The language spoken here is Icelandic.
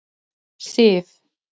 Sif